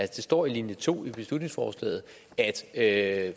det står i linje to i beslutningsforslaget at